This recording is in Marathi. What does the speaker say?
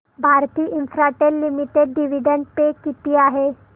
Bharti Infratel limited dividend pay किती आहे